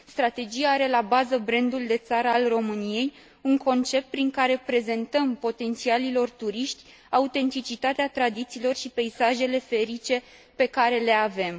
Strategia are la bază brandul de țară al României, un concept prin care prezentăm potențialilor turiști autenticitatea tradițiilor și peisajele feerice pe care le avem.